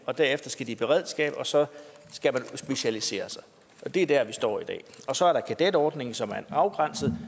og derefter skal de i beredskabet og så skal man specialisere sig det er der vi står i dag og så er der kadetordningen som er en afgrænset